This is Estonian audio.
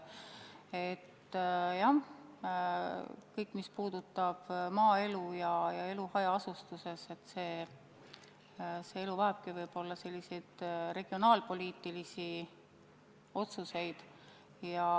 Jah, kõik, mis puudutab maaelu ja elu hajaasustuses, vajabki võib-olla regionaalpoliitilisi otsuseid.